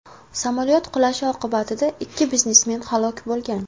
Samolyot qulashi oqibatida ikki biznesmen halok bo‘lgan.